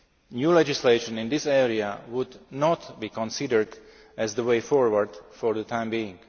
New legislation in this area would not be considered as the way forward for the time being.